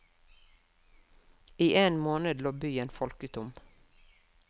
I en måned lå byen folketom.